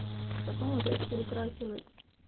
потом опять перекрасилась